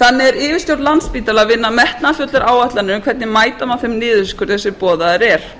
þannig er yfirstjórn landspítala að vinna að metnaðarfullri áætlun um hvernig mæta má þeim niðurskurði sem boðaður er